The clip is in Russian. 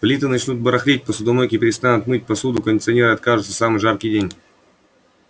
плиты начнут барахлить посудомойки перестанут мыть посуду кондиционеры откажутся в самый жаркий день